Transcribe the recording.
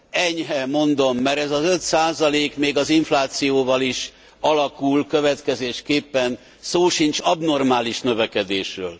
Enyhe, mondom, mert ez az 5 még az inflációval is alakul, következésképpen szó sincs abnormális növekedésről.